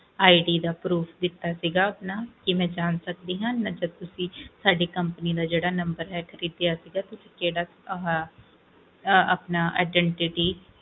ID ਦਾ proof ਦਿੱਤਾ ਸੀਗਾ ਆਪਣਾ ਕੀ ਮੈਂ ਜਾਂ ਸਕਦੀ ਆ ਮਤਲਬ ਤੁਸੀਂ ਸਾਡੀ company ਦਾ ਮਤਲਬ ਜਿਹੜਾ number ਲਿੱਤਾ ਸੀਗਾ ਤੁਸੀਂ ਕੇਹੜਾ ਆਪਣਾ